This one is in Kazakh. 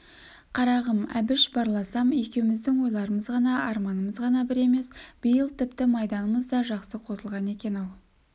қарағым әбіш барласам екеуміздің ойларымыз ғана арманымыз ғана бір емес биыл тіпті майданымыз да жақсы қосылған екен-ау